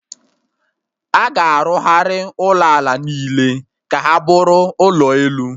Aga arụgharị ụlọ ala niile ka ha bụrụ ụlọ elu